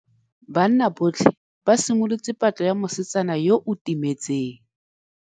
Banna botlhê ba simolotse patlô ya mosetsana yo o timetseng.